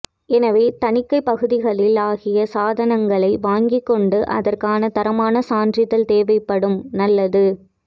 எனவே தணிக்கை பகுதிகளில் ஆகிய சாதனங்களைக் வாங்கிக் கொண்டு அதற்கான தரமான சான்றிதழ் தேவைப்படும் நல்லது